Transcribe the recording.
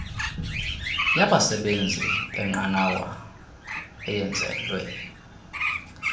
yabasebenzi benqanawa eyenzelwe